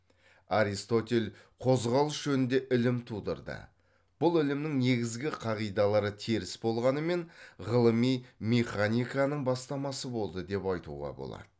арситотель қозғалыс жөнінде ілім тудырды бұл ілімнің негізгі қағидалары теріс болғанымен ғылыми механиканың бастамасы болды деп айтуға болады